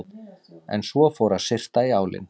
En svo fór að syrta í álinn.